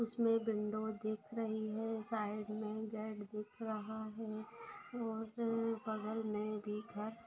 इसमें विंडो देख रही है। साइड में गेट दिख रहा है और बगल में भी घर --